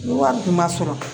Wari kun ma sɔrɔ